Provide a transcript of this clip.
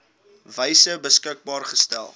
wyse beskikbaar gestel